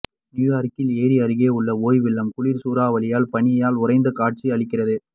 நியூயார்க்கில் ஏரி அருகே உள்ள ஒய்வில்லம் குளிர் சூறாவளியால் பனியால் உறைந்து காட்சி அளிக்கிறது